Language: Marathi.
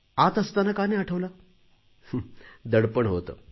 आत असताना का नाही आठवला दडपण होते